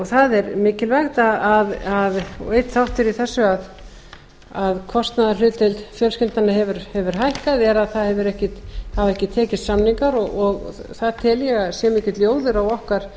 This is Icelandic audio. það er mikilvægt og einn þáttur í þessu að kostnaðarhlutdeild fjölskyldnanna hefur hækkað er að það hafa ekki tekist samningar og það tel ég að sé mikill ljóður á okkar